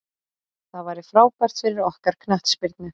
Það væri frábært fyrir okkar knattspyrnu.